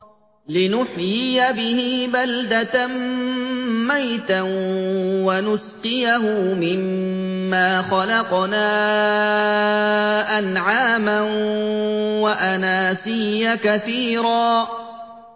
لِّنُحْيِيَ بِهِ بَلْدَةً مَّيْتًا وَنُسْقِيَهُ مِمَّا خَلَقْنَا أَنْعَامًا وَأَنَاسِيَّ كَثِيرًا